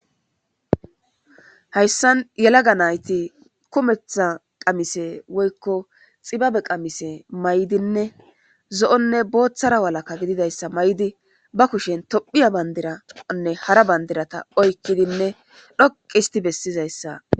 Hayssan yelaga nayti kumetha qamise woykko xibabe qamise may7dinne zo7onne booththara walaka gididayssa may7di ba kushen tophiya bandiranne hara bandirata oykkidinne dhoqi histi bessizayssa.